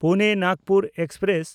ᱯᱩᱱᱮ–ᱱᱟᱜᱽᱯᱩᱨ express